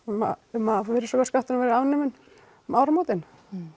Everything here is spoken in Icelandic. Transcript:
um að virðisaukaskatturinn verði afnuminn um áramótin